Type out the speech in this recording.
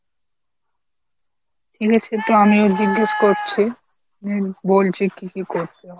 ঠিক আছে , এটা আমিও জিজ্ঞেস করছি, হম বলছি কী কী করতে হয়।